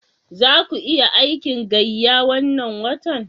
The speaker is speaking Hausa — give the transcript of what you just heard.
Za ku yi aikin gayya wannan watan?